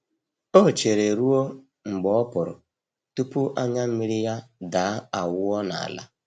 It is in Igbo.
O chere ruo mgbe ọpụrụ tupu anya mmiri ya daa awụọ n'ala.